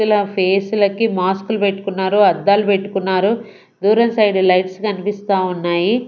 ఇలా ఫేసు లకి మాస్కు లు పెట్టుకున్నారు అద్దాలు పెట్టుకున్నారు దూరం సైడ్ లైట్స్ కనిపిస్తా ఉన్నాయి.